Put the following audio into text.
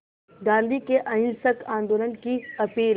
गांधी के अहिंसक आंदोलन की अपील